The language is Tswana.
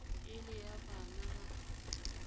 e le ya bana ba